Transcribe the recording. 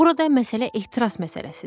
Burada məsələ ehtiras məsələsidir.